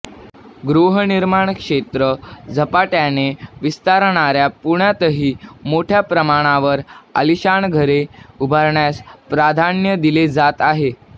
गृहनिर्माण क्षेत्रात झपाट्याने विस्तारणाऱ्या पुण्यातही मोठ्या प्रमाणावर आलिशान घरे उभारण्यास प्राधान्य दिले जात आहे